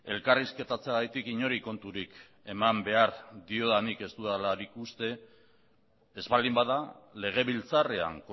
elkarrizketatzeagatik inori konturik eman behar diodanik ez dudalarik uste ez baldin bada legebiltzarrean